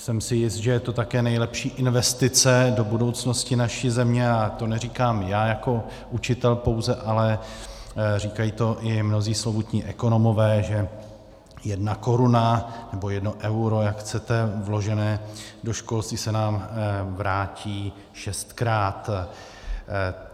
Jsem si jist, že je to také nejlepší investice do budoucnosti naší země, a to neříkám já jako učitel pouze, ale říkají to i mnozí slovutní ekonomové, že jedna koruna nebo jedno euro, jak chcete, vložené do školství se nám vrátí šestkrát.